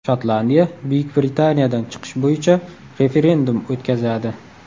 Shotlandiya Buyuk Britaniyadan chiqish bo‘yicha referendum o‘tkazadi.